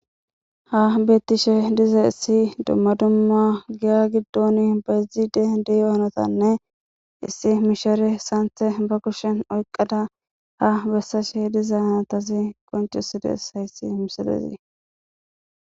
Ha bettishe diza issi dumma dumma giya giddon bayzide diyo hanotanne issi mishere saanthe ba kushen oyqqada ha bessashe diza natasi qoncesides hayssi mishelezi.